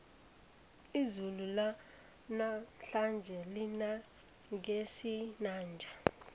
izulu lanamhlanje lina ngesinanja